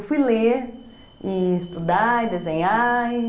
Eu fui ler e estudar e desenhar e...